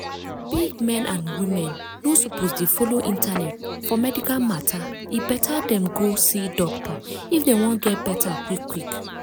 big men and women no suppose de follow internet for medical matter e better dem go see doctor if dem wan get better quick quick.